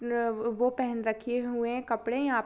नव वो पेहन रखे हुए कपड़े यहाँ प--